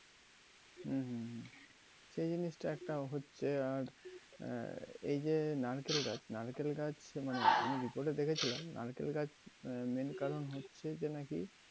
হম হম। এই জিনিসটা একটা হচ্ছে আর আহ এই যে নারকেল গাছ, নারকেল গাছ মানে আমি রিপোর্টে দেখেছিলাম নারকেল গাছ আহ main কারণ হচ্ছে নাকি